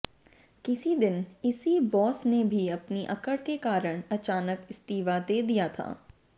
किसी दिन इसी बॉस ने भी अपनी अकड़ के कारण अचानक इस्तीफ़ा दे दिया था